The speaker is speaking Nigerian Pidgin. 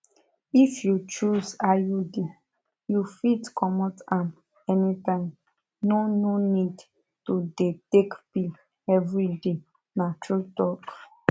if you choose iud you fit comot am anytime no no need to dey take pill every day na true talk